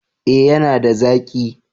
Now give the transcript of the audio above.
Eh ya na da zaki